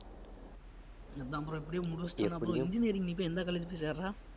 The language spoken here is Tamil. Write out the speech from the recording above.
நம்ம இப்படியே முடிச்சிட்டனா bro engineering நீ போய் எந்த college போய் சேர்ற?